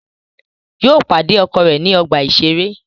Yóò pàdé ọkọ̀ rẹ̀ ní ọgbà-ìṣeré